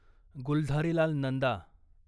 Gulzarilal Nanda